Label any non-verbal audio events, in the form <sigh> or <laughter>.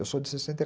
Eu sou de sessenta <unintelligible>